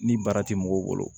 Ni baara ti mɔgɔw bolo